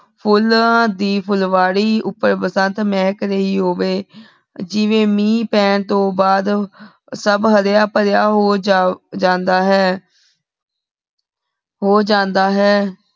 ਫੁਲਾਂ ਦੀ ਫੁਲਵਾਰੀ ਉਪਰ ਬਸੰਤ ਮੇਹਕ ਰਹੀ ਹੋਵੇ ਜਿਵੇਂ ਮੀਨ ਪੇੰ ਤੋਂ ਬਾਅਦ ਸਬ ਹਰਿਆ ਭਰਿਆ ਹੋ ਜਾਂਦਾ ਹੈ ਹੋ ਜਾਂਦਾ ਹੈ